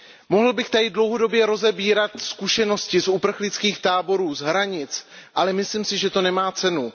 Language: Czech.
Mohl bych tady dlouhodobě rozebírat zkušenosti z uprchlických táborů, z hranic, ale myslím si, že to nemá cenu.